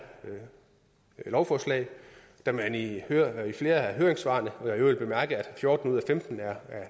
lovforslag da man i flere af høringssvarene og jeg øvrigt bemærket at fjorten ud af femten er